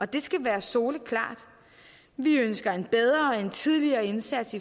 det skal være soleklart vi ønsker en bedre og tidligere indsats